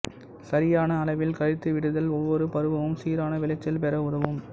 சரியான அளவில் கழித்து விடுதல் ஒவ்வொரு பருவமும் சீரான விளைச்சல் பெற உதவும்